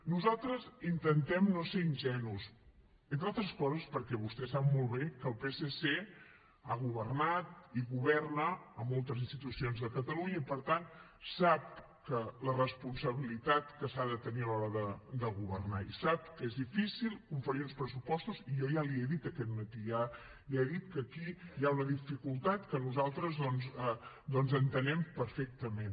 nosaltres intentem no ser ingenus entre altres coses perquè vostè sap molt bé que el psc ha governat i governa a moltes institucions de catalunya i per tant sap la responsabilitat que s’ha de tenir a l’hora de governar i sap que és difícil confegir uns pressupostos i jo ja li ho he dit aquest matí ja he dit que aquí hi ha una dificultat que nosaltres doncs entenem perfectament